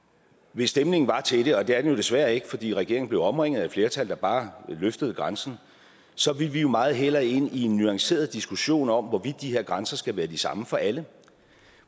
hvis stemningen var til det og det er den jo desværre ikke fordi regeringen blev omringet af et flertal der bare løftede grænsen så ville vi jo meget hellere ind i en nuanceret diskussion om hvorvidt de her grænser skal være de samme for alle